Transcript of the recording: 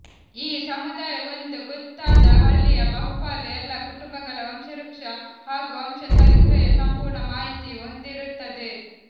ಈ ಸಮುದಾಯ ಒಂದು ಗೊತ್ತಾದ ಹಳ್ಳಿಯ ಬಹುಪಾಲು ಎಲ್ಲಾ ಕುಟುಂಬಗಳ ವಂಶವೃಕ್ಷ ಹಾಗೂ ವಂಶ ಚರಿತ್ರೆಯ ಸಂಪೂರ್ಣ ಮಾಹಿತಿ ಹೊಂದಿರುತ್ತದೆ